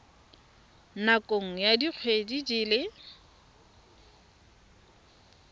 nakong ya dikgwedi di le